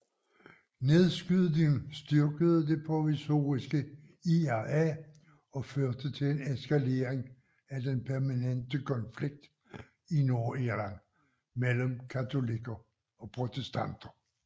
Nedskydningen styrkede Det Provisoriske IRA og førte til en eskalering af den permanente konflikt i Nordirland mellem katolikker og protestanter